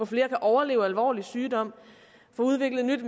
flere kan overleve alvorlig sygdom få udviklet nyt